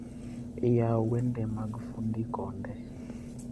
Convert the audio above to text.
Yaw wende mag fundi konde